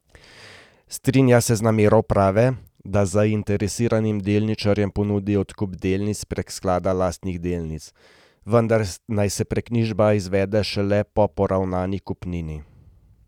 Strinja se z namero uprave, da zainteresiranim delničarjem ponudi odkup delnic prek sklada lastnih delnic, vendar naj se preknjižba izvede šele po poravnani kupnini.